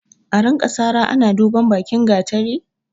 A rinka sara ina duban bakin gatari?